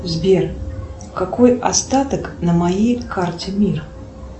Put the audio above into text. сбер какой остаток на моей карте мир